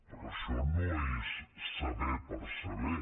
però això no és saber per saber